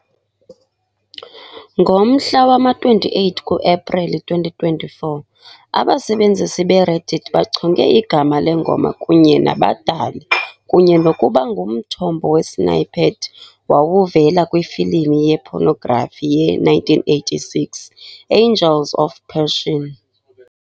Ngomhla wama-28 ku-Epreli 2024, abasebenzisi be-Reddit bachonge igama lengoma kunye nabadali kunye nokuba ngumthombo wesnippet wawuvela kwifilimu ye-pornography ye-1986 "Angels of Passion".